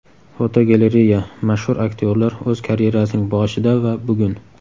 Fotogalereya: Mashhur aktyorlar o‘z karyerasining boshida va bugun.